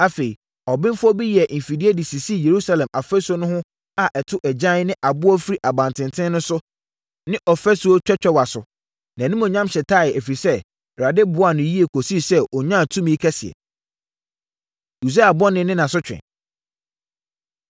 Afei, abenfoɔ bi yɛɛ mfidie de sisii Yerusalem afasuo no so a ɛto agyan ne aboɔ firi abantenten no so ne ɔfasuo twɛtwɛwa so. Nʼanimuonyam hyetaeɛ, ɛfiri sɛ, Awurade boaa no yie kɔsii sɛ ɔnyaa tumi kɛseɛ. Usia Bɔne Ne Nʼasotwe